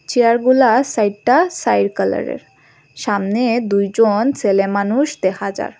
Chair গুলা চাইরটা চাইর কালারের সামনে দুইজন ছেলেমানুষ দেখা যার।